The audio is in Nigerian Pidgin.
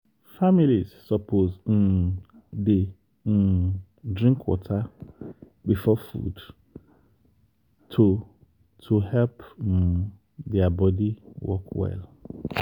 families suppose um dey um drink water before food to to help um their body work well.